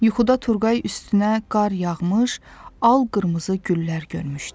Yuxuda Turqay üstünə qar yağmış, al qırmızı güllər görmüşdü.